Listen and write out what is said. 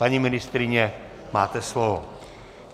Paní ministryně, máte slovo.